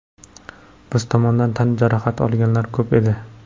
Biz tomondan tan jarohati olganlar ko‘p edi.